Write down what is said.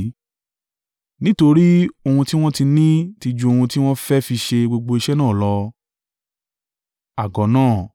nítorí ohun tí wọ́n ti ní ti ju ohun tí wọn fẹ́ fi ṣe gbogbo iṣẹ́ náà lọ.